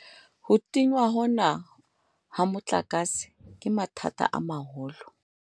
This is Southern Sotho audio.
Ho tingwa hona ha motlakase, ke mathata a maholo.